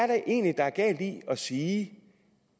der egentlig er galt i at sige at